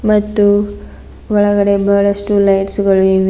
ಮತ್ತು ಒಳಗಡೆ ಬಹಳಷ್ಟು ಲೈಟ್ಸ್ ಗಳು ಇವೆ.